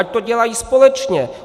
Ať to dělají společně!